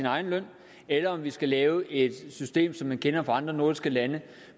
egen løn eller om vi skal lave et system som man kender det fra andre nordiske lande